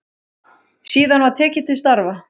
Síðan var tekið til starfa.